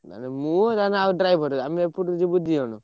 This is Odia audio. ମୁଁ ଆଉ ନହଲେ driver ଆମେ ଏପଟୁ ଯିବୁ ଦି ଜଣ।